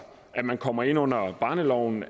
at man kommer ind under barneloven